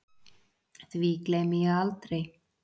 Því gleymi ég aldrei